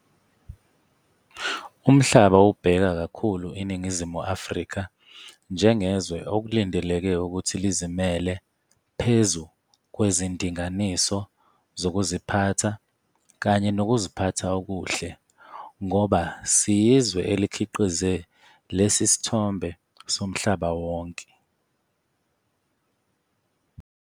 "Umhlaba ubheka kakhulu iNingizimu Afrika njengezwe okulindeleke ukuthi lizimele phezu kwezindinganiso zokuziphatha kanye nokuziphatha okuhle, ngoba siyizwe elikhiqize lesi sithombe somhlaba wonke.